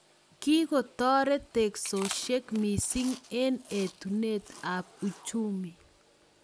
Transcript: Kikotoret teksosiek mising eng etunet ab uchuni